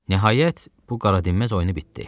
Nəhayət, bu qaradinməz oyunu bitdi.